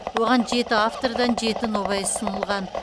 оған жеті автордан жеті нобай ұсынылған